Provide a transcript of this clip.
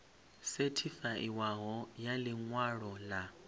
sethifaiwaho ya ḽi ṅwalo ḽa